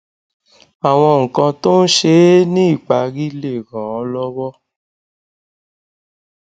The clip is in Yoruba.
àwọn nǹkan tó ń ṣe é ní ìparí lè ràn án lówó